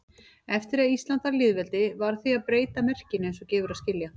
Eftir að Ísland varð lýðveldi varð því að breyta merkinu eins og gefur að skilja.